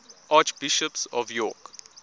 archbishops of york